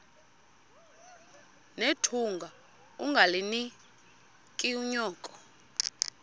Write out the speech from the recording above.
nethunga ungalinik unyoko